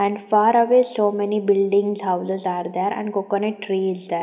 And far away so many buildings houses are there and coconut trees the --